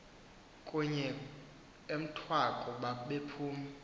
kunye emthwaku bephuma